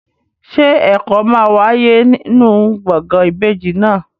Ṣé ẹ̀kọ́ máa wáyé nínú gbọ̀ngàn ìbejì náà?